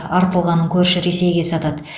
артылғанын көрші ресейге сатады